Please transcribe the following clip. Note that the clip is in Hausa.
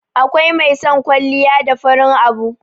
akwai mai son kwalliya da farin abu